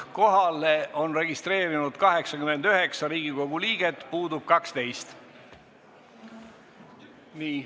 Kohalolijaks on registreerunud 89 Riigikogu liiget, puudub 12.